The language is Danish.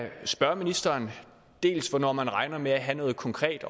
spørge ministeren hvornår man regner med at have noget konkret